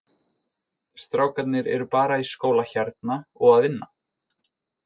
Strákarnir eru bara í skóla hérna og að vinna.